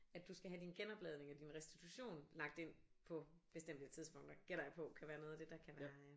At du skal have din genopladning og din restitution lagt ind på bestemte tidspunkter gætter jeg på kan være noget af det der kan være øh